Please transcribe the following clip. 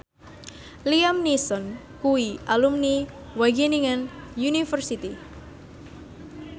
Liam Neeson kuwi alumni Wageningen University